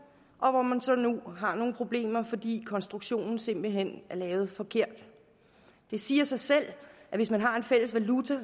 og hvor man så nu har nogle problemer fordi konstruktionen simpelt hen er lavet forkert det siger sig selv at hvis man har en fælles valuta